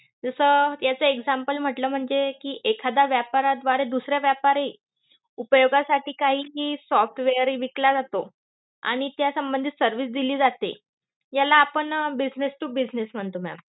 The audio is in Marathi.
जस अं याचं example म्हटलं म्हणजे एखाद्या व्यापाराद्वारे दुसरा व्यापारी उपयोगासाठी काही कि software हे विकला जातो. आणि त्या संबंधित service दिली जाते. याला आपण business to business म्हणतो ma'am.